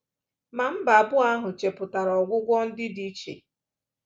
Ma mba abụọ ahụ chepụtara ọgwụgwọ ndị dị iche.